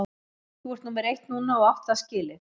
Þú ert númer eitt núna og átt það skilið.